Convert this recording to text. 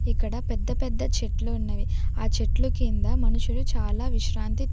ఇక్కడ పెద్ద పెద్ద చెట్లు ఉన్నవి ఆ చెట్లు కింద మనుషులు చాలా విశ్రాంతి.